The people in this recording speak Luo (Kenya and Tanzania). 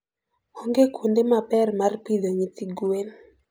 Onge kuonde ma ber mar pidho nyithi gwen.